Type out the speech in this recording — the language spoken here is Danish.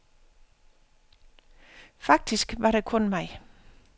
Faktisk var der kun mig.